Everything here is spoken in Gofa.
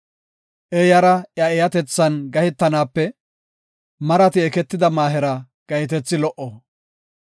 Eeyara iya eeyatethan gahetanaape marati eketida maahera gahetethi lo77o.